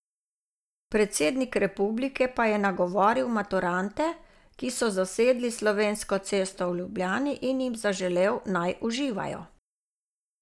Predsednik republike pa je nagovoril maturante, ki so zasedli Slovensko cesto v Ljubljani, in jim zaželel, naj uživajo.